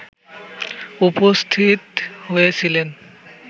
উপস্থিত হয়েছিলেন